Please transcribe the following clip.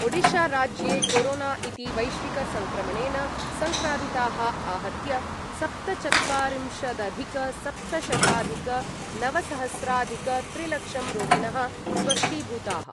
ओडिशाराज्ये corona इति वैश्विकसङ्क्रमणेन सङ्क्रान्ताः आहत्य सप्तचत्वारिंशदधिकसप्तशताधिकनवसहस्राधिकत्रिलक्षं रोगिणः स्वस्थीभूताः।